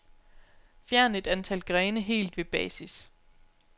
Fjern et antal grene helt ved basis.